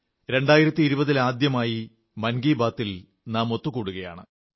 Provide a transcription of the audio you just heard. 2020 ൽ ആദ്യമായി മൻ കീ ബാത്ത് ൽ ഒത്തു കൂടുകയാണ്